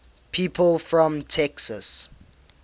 people from texas